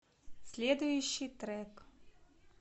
следующий трек